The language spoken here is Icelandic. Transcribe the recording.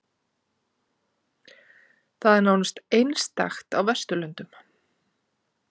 Það er nánast einstakt á vesturlöndum